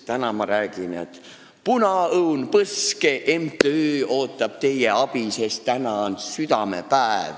Nad räägivad, et Punaõun Põske MTÜ ootab teie abi, sest täna on südamepäev.